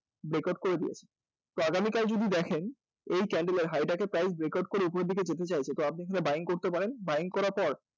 breakout করে দিয়েছে তো আগামীকাল যদি দেখেন এই candle এর height and price উপরের দিকে যেতে চাইছে তো আপনি buying করতে পারেন তো buying করার পর